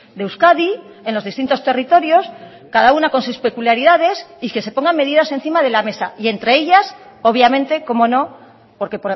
de euskadi en los distintos territorios cada una con sus peculiaridades y que se pongan medidas encima de la mesa y entre ellas obviamente cómo no porque